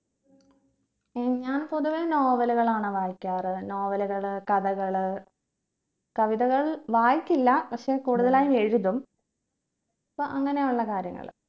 ഏർ ഞാൻ കൂടുതൽ novel കളാണ് വായിക്കാറ് novel കള് കഥകള് കവിതകൾ വായിക്കില്ല പക്ഷെ കൂടുതലായി എഴുതും അപ്പോ അങ്ങനെ ഉള്ള കാര്യങ്ങള്